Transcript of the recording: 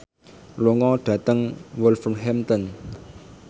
lunga dhateng Wolverhampton